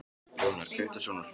Jónar, kveiktu á sjónvarpinu.